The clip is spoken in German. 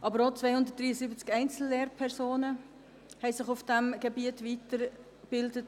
Aber auch 273 Einzellehrpersonen haben sich auf diesem Gebiet weitergebildet.